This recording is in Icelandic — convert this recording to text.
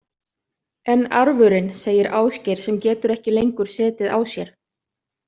En arfurinn, segir Ásgeir sem getur ekki lengur setið á sér.